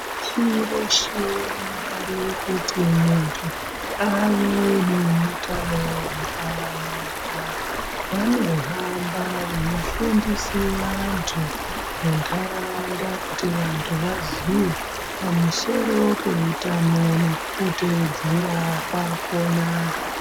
Shi reshe rikave kuti muntu ave neutanohwakanaka vanohamba veifundise vantu muntaraunda kuti vantu vaziye pamusoro peutano nekuteedzera kwakhona.